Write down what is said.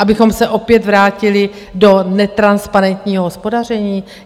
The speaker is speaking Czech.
Abychom se opět vrátili do netransparentního hospodaření?